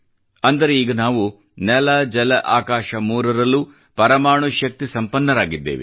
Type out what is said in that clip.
ಅಂದರೆ ಈಗ ನಾವು ನೆಲ ಜಲ ಆಕಾಶ ಮೂರರಲ್ಲೂ ಪರಮಾಣು ಶಕ್ತಿ ಸಂಪನ್ನರಾಗಿದ್ದೇವೆ